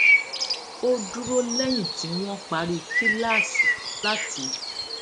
ó dúró léyìn tí wón parí kíláàsì láti